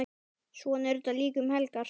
Svona er þetta líka um helgar.